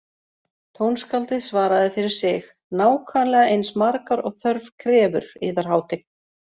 Tónskáldið svaraði fyrir sig: Nákvæmlega eins margar og þörf krefur, yðar hátign